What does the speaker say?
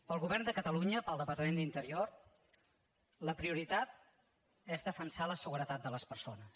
per al govern de catalunya per al departament d’interior la prioritat és defensar la seguretat de les persones